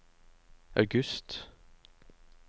august